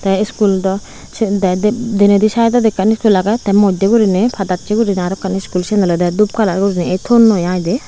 tey iskul daw se de denedi saidodi ekkan iskul agey tey moddye guriney padassey guriney arokkan iskul siyen olodey dup kalar guriney ei tonnoi ai dey.